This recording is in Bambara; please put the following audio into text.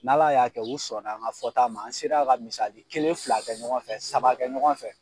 N'Ala y'a kɛ u sɔn na an ka fɔ ta ma an sera ka misali kelen fila kɛ ɲɔgɔn fɛ saba kɛ ɲɔgɔn fɛ.